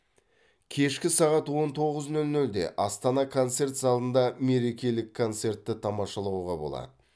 кешкі сағат он тоғыз нөл нөлде астана концерт залында мерекелік концертті тамашалауға болады